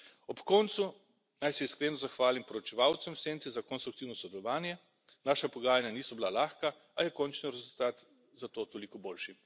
Ob koncu naj se iskreno zahvalim poročevalcem v senci za konstruktivno sodelovanje. Naša pogajanja niso bila lahka, a je končni rezultat zato toliko boljši.